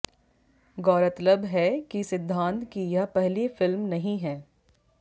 गौरतलब है कि सिद्धांत की यह पहली फिल्म नहीं है